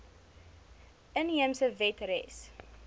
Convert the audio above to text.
inheemse wet res